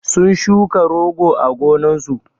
sun shuka rogo a gonnan sun